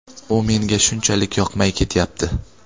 u menga shunchalik yoqmay ketyapti.